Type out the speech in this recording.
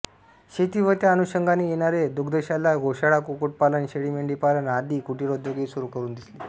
शेती व त्या अनुषंगाने येणारे दुग्धशाला गोशाळा कुक्कुटपालन शेळीमेंढीपालन आदि कुटिरोद्योगही सुरू करून दिले